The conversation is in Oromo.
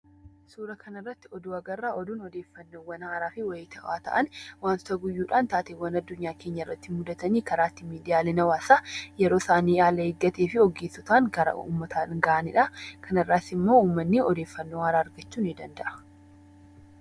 Suura kana irratti oduu agarra. Oduun odeeffannoowwan haarawaafi wayitaawaa ta'an, wantoota guyyuudhaan taateewwan addunyaa keenya irratti mudatan karaa itti miidiyaalee hawaasaa yeroo isaan haala eeggateen ogeessotaan gara uummataa ga'anidha. Kana irraas ammoo uummanni odeeffannoo haaraa argachuu ni danda'a.